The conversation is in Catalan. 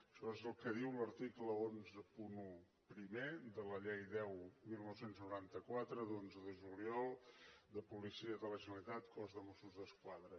això és el que diu l’article cent i onze primer de la llei deu dinou noranta quatre d’onze de juliol de la policia de la generalitat cos de mossos d’esquadra